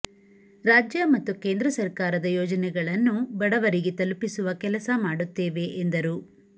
ರಾಜ್ಯ ಮತ್ತು ಕೇಂದ್ರ ಸರ್ಕಾರದ ಯೋಜನೆಗಳನ್ನು ಬಡವರಿಗೆ ತಲುಪಿಸುವ ಕೆಲಸ ಮಾಡುತ್ತೇವೆ ಎಂದರು